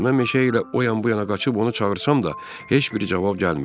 Mən meşə ilə o yan-bu yana qaçıb onu çağırsam da heç bir cavab gəlmirdi.